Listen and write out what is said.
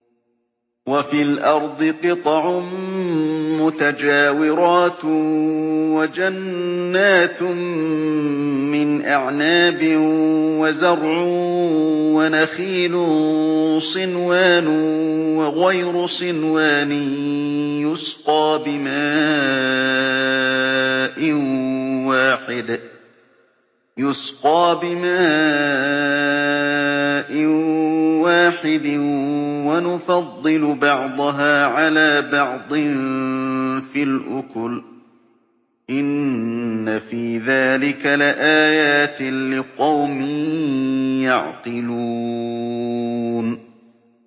وَفِي الْأَرْضِ قِطَعٌ مُّتَجَاوِرَاتٌ وَجَنَّاتٌ مِّنْ أَعْنَابٍ وَزَرْعٌ وَنَخِيلٌ صِنْوَانٌ وَغَيْرُ صِنْوَانٍ يُسْقَىٰ بِمَاءٍ وَاحِدٍ وَنُفَضِّلُ بَعْضَهَا عَلَىٰ بَعْضٍ فِي الْأُكُلِ ۚ إِنَّ فِي ذَٰلِكَ لَآيَاتٍ لِّقَوْمٍ يَعْقِلُونَ